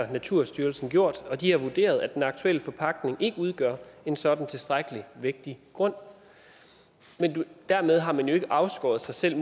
har naturstyrelsen gjort og de har vurderet at den aktuelle forpagtning ikke udgør en sådan tilstrækkelig vægtig grund men dermed har man jo ikke afskåret sig selv